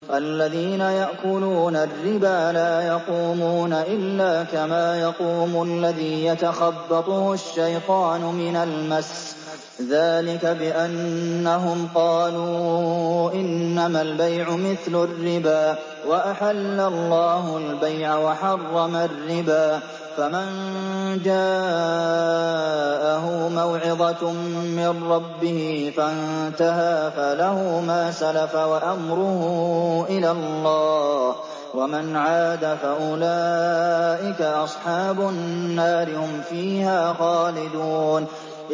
الَّذِينَ يَأْكُلُونَ الرِّبَا لَا يَقُومُونَ إِلَّا كَمَا يَقُومُ الَّذِي يَتَخَبَّطُهُ الشَّيْطَانُ مِنَ الْمَسِّ ۚ ذَٰلِكَ بِأَنَّهُمْ قَالُوا إِنَّمَا الْبَيْعُ مِثْلُ الرِّبَا ۗ وَأَحَلَّ اللَّهُ الْبَيْعَ وَحَرَّمَ الرِّبَا ۚ فَمَن جَاءَهُ مَوْعِظَةٌ مِّن رَّبِّهِ فَانتَهَىٰ فَلَهُ مَا سَلَفَ وَأَمْرُهُ إِلَى اللَّهِ ۖ وَمَنْ عَادَ فَأُولَٰئِكَ أَصْحَابُ النَّارِ ۖ هُمْ فِيهَا خَالِدُونَ